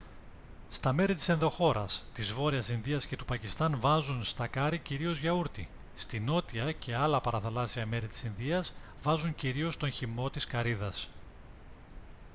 στα μέρη της ενδοχώρας της βόρειας ινδίας και του πακιστάν βάζουν στα κάρυ κυρίως γιαούρτι στη νότια και άλλα παραθαλάσσια μέρη της ινδίας βάζουν κυρίως τον χυμό της καρύδας